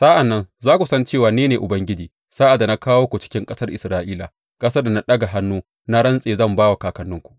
Sa’an nan za ku san cewa ni ne Ubangiji sa’ad da na kawo ku cikin ƙasar Isra’ila, ƙasar da na ɗaga hannu na rantse zan ba wa kakanninku.